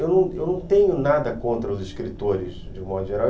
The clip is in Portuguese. Eu não tenho nada contra os escritores, de um modo geral.